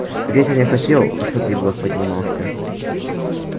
витя не хотел чтобы егор поднимался